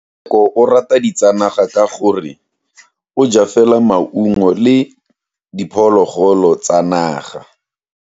Tsheko o rata ditsanaga ka gore o ja fela maungo le diphologolo tsa naga.